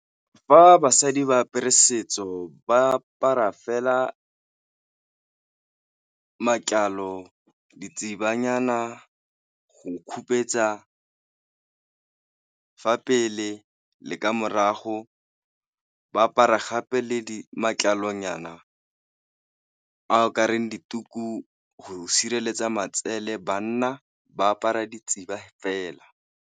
Fa basadi ba apere setso ba apara fela matlalo go khupetsa fa pele le ka morago, ba apara gape le di matlalonyana a kareng dituku go sireletsa matsele, banna ba apara fela.